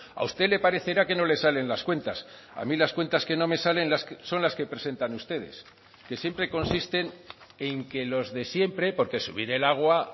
a usted le parecerá que no le salen las cuentas a mí las cuentas que no me salen son las que presentan ustedes que siempre consisten en que los de siempre porque subir el agua